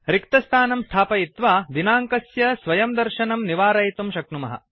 रिक्तस्थानं स्थापयित्वा दिनाङ्कस्य स्वयंदर्शनं निवारयितुं शक्नुमः